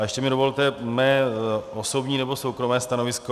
A ještě mi dovolte mé osobní nebo soukromé stanovisko.